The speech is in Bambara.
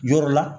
Yɔrɔ la